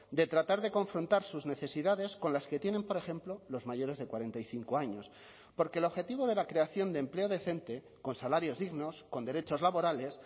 de tratar de confrontar sus necesidades con las que tienen por ejemplo los mayores de cuarenta y cinco años porque el objetivo de la creación de empleo decente con salarios dignos con derechos laborales